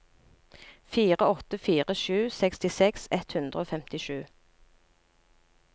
fire åtte fire sju sekstiseks ett hundre og femtisju